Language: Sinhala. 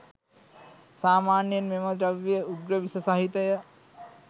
සාමාන්‍යයෙන් මෙම ද්‍රව්‍ය උග්‍ර විෂ සහිතය.